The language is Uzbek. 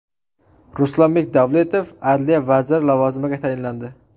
Ruslanbek Davletov adliya vaziri lavozimiga tayinlandi.